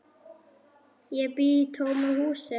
Ég bý í tómu húsi.